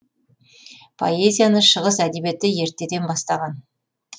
поэзияны шығыс әдебиеті ертеден бастаған